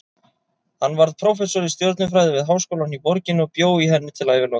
Hann varð prófessor í stjörnufræði við háskólann í borginni og bjó í henni til æviloka.